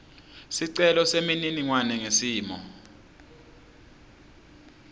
sicelo semininingwane ngesimo